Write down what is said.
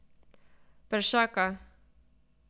Peršaka.